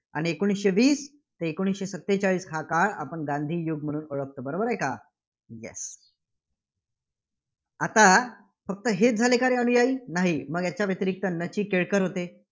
आणि एकोणीसशे वीस ते एकोणीसशे सत्तेचाळीस हा काळ आपण गांधीयुग म्हणून ओळखतो. बरोबर आहे का? Yes आता फक्त हेच झाले का रे अनुयायी? नाही. मग याच्या व्यतिरिक्त न. चि. केळकर होते.